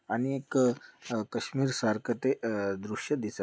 आणि एक अ कश्मीर सारखं ते अ-दृश्य दिसत--